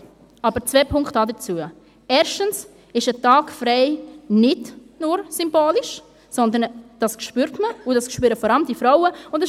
Doch dazu zwei Punkte: Erstens ist ein Tag frei nicht nur symbolisch, sondern das spürt man, und vor allem die Frauen spüren es.